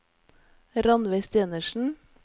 Rannveig Stenersen